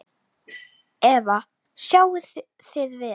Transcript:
Eva: Sjáið þið vel?